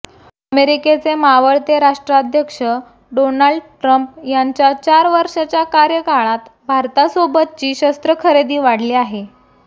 अमेरिकेचे मावळते राष्ट्राध्यक्ष डोनाल्ड ट्रम्प यांच्या चार वर्षाच्या कार्यकाळात भारतासोबतची शस्त्रखरेदी वाढली आहे